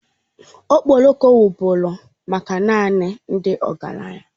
Okporoko wụrụ bụ maka naanị ndị ọgaranya